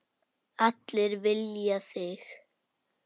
Allir vilja þig.